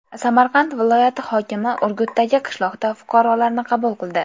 Samarqand viloyati hokimi Urgutdagi qishloqda fuqarolarni qabul qildi.